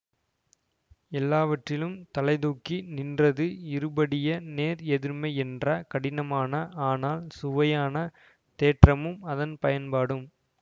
எல்லாவற்றிலும் தலைதூக்கி நின்றது இருபடிய நேர் எதிர்மை என்ற கடினமான ஆனால் சுவையான தேற்றமும் அதன் பயன்பாடும்